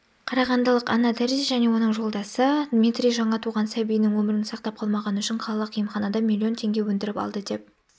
қарағандылық анна терзи және оның жолдасы дмитрий жаңа туған сәбиінің өмірін сақтап қалмағаны үшін қалалық емханадан миллион теңге өндіріп алды деп